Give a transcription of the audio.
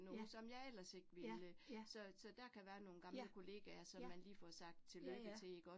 Ja, ja, ja, ja, ja, ja ja